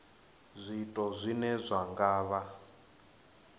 zwiito zwine zwa nga vha